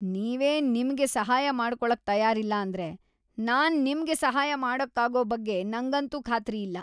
ನೀವೇ ನಿಮ್ಗೆ ಸಹಾಯ ಮಾಡ್ಕೊಳಕ್‌ ತಯಾರಿಲ್ಲ ಅಂದ್ರೆ ನಾನ್‌ ನಿಮ್ಗೆ ಸಹಾಯ ಮಾಡಕ್ಕಾಗೋ ಬಗ್ಗೆ ನಂಗಂತೂ ಖಾತ್ರಿ ಇಲ್ಲ.